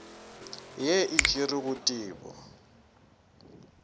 ye e tšerwe go tebu